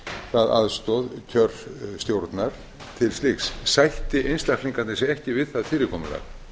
það aðstoð kjörstjórnar til slíks sætti einstaklingarnir sig ekki við það fyrirkomulag